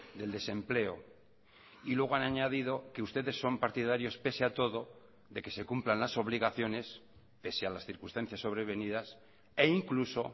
del desempleo y luego han añadido que ustedes son partidarios pese a todo de que se cumplan las obligaciones pese a las circunstancias sobrevenidas e incluso